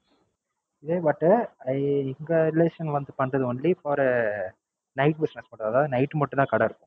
இதே but எங்க Relation வந்து பண்றது வந்து இப்போ ஒரு Night business பண்றது அதாவது Night மட்டும் தான் கடை இருக்கும்.